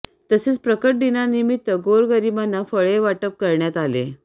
तसेच प्रकट दिनानिमित्त गोरगरीबांना फळे वाटप करण्यात आले